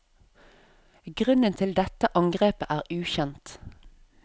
Grunnen til dette angrepet er ukjent.